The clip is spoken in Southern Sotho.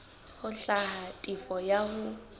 ho hlwaya tefo ya hao